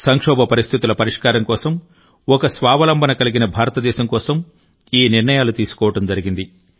సంక్షోభ పరిస్థితుల పరిష్కారం కోసం ఒక స్వావలంబన కలిగిన భారతదేశం కోసం ఈ నిర్ణయాలు తీసుకోవడం జరిగింది